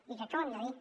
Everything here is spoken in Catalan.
i crec que ho hem de dir